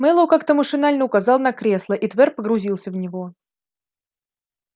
мэллоу как-то машинально указал на кресло и твер погрузился в него